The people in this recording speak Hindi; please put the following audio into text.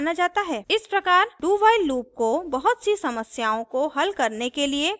इस प्रकार dowhile loop को बहुत सी समस्याओं को हल करने के लिए प्रयोग किया गया है